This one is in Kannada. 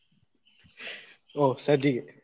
ಹೋ ಸಜ್ಜಿಗೆ.